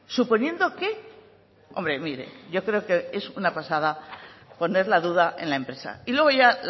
suponiendo que hombre mire yo creo que es una pasada poner la duda en la empresa y luego ya